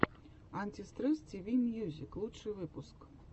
антистресс тиви мьюзик лучший выпуск